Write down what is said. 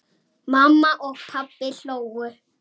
Mamma og pabbi hlógu.